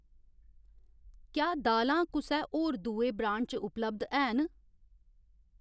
क्या दालां कुसै होर दुए ब्रांड च उपलब्ध हैन ?